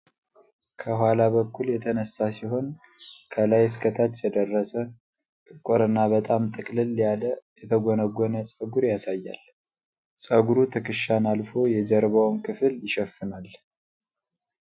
ከኋላ በኩል የተነሳ ሲሆን፣ ከላይ እስከ ታች የደረሰ፣ ጥቁርና በጣም ጥቅጥቅ ያለ የተጎነጎነ ጸጉር ያሳያል። ጸጉሩ ትከሻን አልፎ የጀርባውን ክፍል ይሸፍናል።